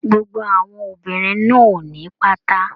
Gbogbo àwọn obìnrin náà o ní pátá.